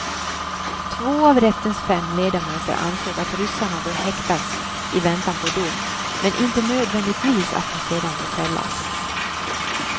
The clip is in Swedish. Två av rättens fem ledamöter ansåg att ryssarna bör häktas i väntan på dom, men inte nödvändigtvis att de sedan bör fällas.